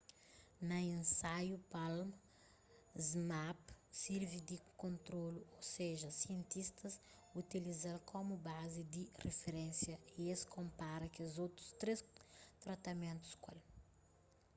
na insaiu palm zmapp sirvi di kontrolu ô seja sientistas utiliza-l komu bazi di riferénsia y es konpara kes otu três tratamentus ku el